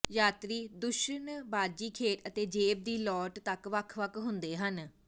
ਯਾਤਰੀ ਦੂਸ਼ਣਬਾਜ਼ੀ ਖੇਡ ਅਤੇ ਜੇਬ ਦੀ ਲਾਟ ਤੱਕ ਵੱਖ ਵੱਖ ਹੁੰਦੇ ਹਨ